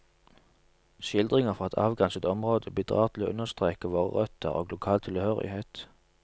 Skildringer fra et avgrenset område bidrar til å understreke våre røtter og lokal tilhørighet.